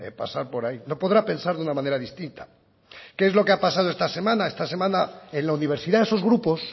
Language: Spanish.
pasar por ahí no podrá pensar de una manera distinta qué es lo que ha pasado esta semana esta semana en la universidad esos grupos